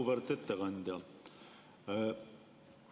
Auväärt ettekandja!